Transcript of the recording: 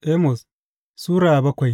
Amos Sura bakwai